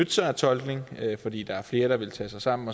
sig af tolkning fordi der er flere der vil tage sig sammen